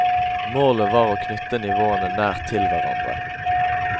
Målet var å knytte nivåene nært til hverandre.